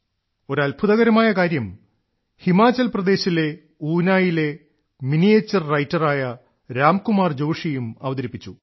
ഒരു അത്ഭുതകരമായ കാര്യം ഹിമാചൽപ്രദേശിലെ ഊനായിലെ മിനിയേച്ചർ റൈറ്ററായ രാംകുമാർ ജോഷിയും അവതരിപ്പിച്ചു